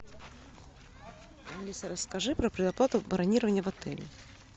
алиса расскажи про предоплату бронирования в отеле